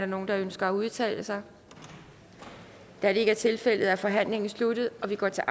nogen der ønsker at udtale sig da det ikke er tilfældet er forhandlingen sluttet og vi går til